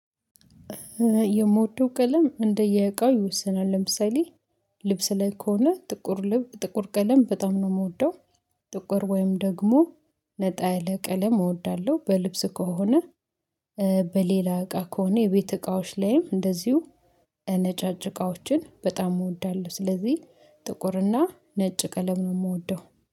የምወደው ቀለም እንደየእቃው ይወስናል ለምሳሌ ልብስ ላይ ከሆነ ጥቁር ልብ ጥቁር ቀለም በጣም ነው የምወደው። ጥቁር ወይም ደግሞ ነጣ ያለ ቀለም እወዳለሁ። በልብስ ከሆነ በሌላ እቃ ከሆነ የቤት እቃዎች ላይም እንደዚሁ ነጫጭ እቃዎችን በጣም እወዳለሁ፤። ስለዚህ ጥቁርና ነጭ ቀለም ነው የምወደው